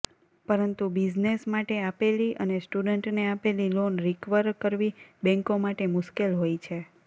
પરંતુ બિઝનેસ માટે આપેલી અને સ્ટુડન્ટને આપેલી લોન રીકવર કરવી બેન્કો માટે મુશ્કેલ હોય છે